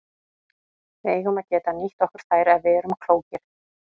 Við eigum að geta nýtt okkur þær ef við erum klókir.